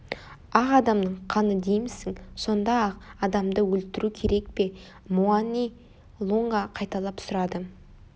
ақ адамның қаны деймісің сонда ақ адамды өлтіру керек пе муани-лунга қайталап сұрады